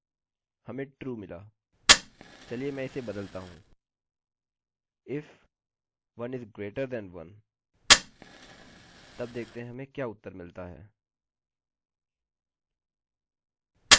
चलिए मैं इसे बदलता हूँ if 1 > 1 तब देखते हैं कि हमें क्या उत्तर मिलता है